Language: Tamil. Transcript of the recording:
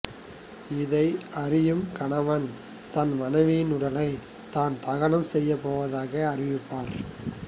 இதை அறியும் கணவன் தன் மனைவியின் உடலை தான் தகனம் செய்யப்போவதாக அறிவிப்பார்